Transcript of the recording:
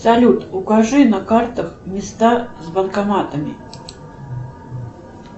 салют укажи на картах места с банкоматами